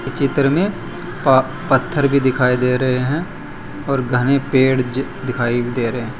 चित्र में पा पत्थर भी दिखाई दे रहे हैं और घने पेड़ ज दिखाई दे रहे--